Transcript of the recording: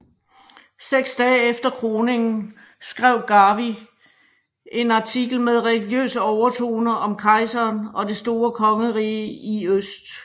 Seks dage efter kroningen skrev Garvey en artikel med religiøse overtoner om kejseren og det store kongerige i øst